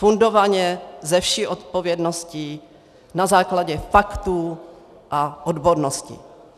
Fundovaně, se vší odpovědností, na základě faktů a odbornosti.